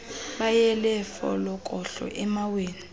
beyela folokohlo emaweni